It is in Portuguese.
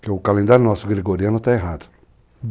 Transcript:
Porque o calendário nosso gregoriano está errado.